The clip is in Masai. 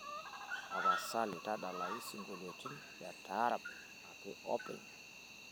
tapasali tadalayu isingolioitin le taarab ake openy